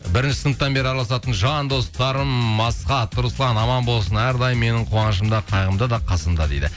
бірінші сыныптан бері араласатын жандостарым асхат руслан аман болсын әрдайым менің қуанышымда қайғымда да қасымда дейді